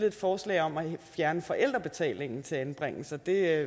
et forslag om at fjerne forældrebetalingen til anbringelser det er